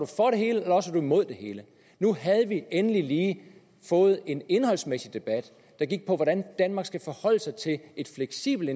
man imod det hele nu havde vi endelig lige fået en indholdsmæssig debat der gik på hvordan danmark skal forholde sig til et fleksibelt